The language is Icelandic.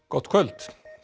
gott kvöld